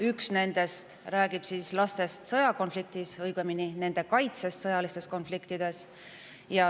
Üks nendest räägib laste sõjakonfliktidesse, õigemini nende kaitsest sõjaliste konfliktide eest.